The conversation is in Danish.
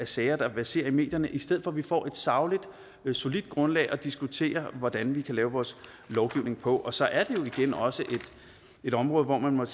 sager der verserer i medierne i stedet for at vi får et sagligt solidt grundlag at diskutere hvordan vi kan lave vores lovgivning på og så er det jo igen også et område hvor man